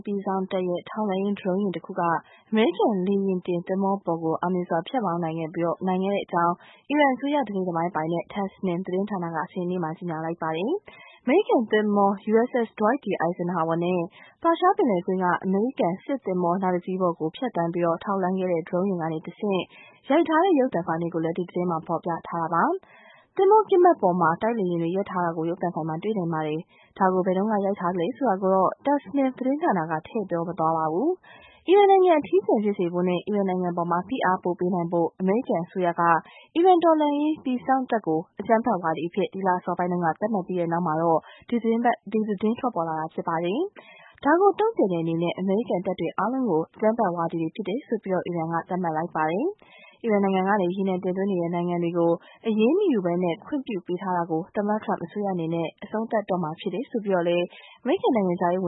ပြည်စောင့်တပ်ရဲ့ ထောက်လှမ်းရေး Drone ယာဉ်တခု အမေရိကန် လေယာဉ်တင်သင်္ဘောပေါ်ကို အောင်မြင်စွာ ဖြတ်မောင်းနိုင်ခဲ့ကြောင်း အီရန်အစိုးရ တစိတ်တပိုင်းပိုင်တဲ့ Tasnim သတင်းဌာနက စနေနေ့မှာ ကြေညာလိုက်ပါတယ်။ အမေရိကန်သင်္ဘော USS Dwight D. Eisenhower နဲ့ ပါရှားပင်လယ်ကွေ့က အမေရိကန်စစ်သင်္ဘောနောက်တစီးအပေါ် ပျံသန်းပြီး ထောက်လှမ်းခဲ့တဲ့ Drone ယာဉ်ကတဆင့် ရိုက်ထားတဲ့ ရုပ်သံဖိုင်တွေကိုလည်း ဒီသတင်းမှာ ဖော်ပြထားတာပါ။ သင်္ဘောကင်းပတ်ပေါ်မှာ တိုက်လေယာဉ်တွေ ရပ်ထားတာကို ရုပ်သံဖိုင်မှာ တွေ့နိုင်ပါတယ်။ ဒါကို ဘယ်တုန်းက ရိုက်ထားသလဲဆိုတာကိုတော့ Tasnim သတင်းဌာနက ထည့်မပြောထားပါဘူး။ အီရန်နိုင်ငံ အထီးကျန် ဖြစ်စေဖို့နဲ့ အီရန်နိုင်ငံအပေါ် ဖိအားပိုပေးနိုင်ဖို့ အမေရိကန်အစိုးရက အီရန် တော်လှန်ရေးပြည်စောင့်တပ်ကို အကြမ်းဖက်ဝါဒီအဖြစ် ဒီလအစောပိုင်းတုန်းက သတ်မှတ်ပြီးတဲ့နောက် ဒီသတင်းထွက်ပေါ်လာတာ ဖြစ်ပါတယ်။ ဒါကိုတုန့်ပြန်တဲ့အနေနဲ့ အမေရိကန်တပ်တွေအားလုံးဟာ အကြမ်းဖက်ဝါဒီတွေ ဖြစ်တယ်လို့ အီရန်က သတ်မှတ်လိုက်ပါတယ်။ အီရန်နိုင်ငံကနေ ရေနံတင်သွင်းနေတဲ့နိုင်ငံတွေကို အရေးမယူဘဲ ခွင့်ပြုပေးထားတာတွေကို သမ္မတထရမ့်အစိုးရအနေနဲ့ အဆုံးသတ်တော့မှာ ဖြစ်တယ်လို့ အမေရိကန်နိုင်ငံခြားရေးဝ